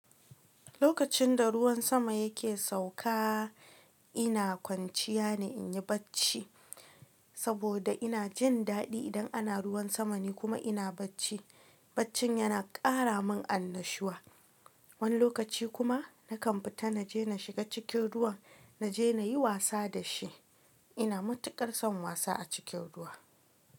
Lokacin da ruwan sama yake sauka, ina kwanciya ne in yi bacci saboda ina jin daɗi idan ana ruwan sama ne kuma ina bacci. Baccin yana ƙara min annashuwa. Wani lokaci kuma nakan fita na je na shiga cikin ruwa na je na yi wasa da shi. Ina matuƙar son wasa a cikin ruwa.